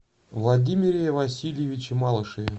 владимире васильевиче малышеве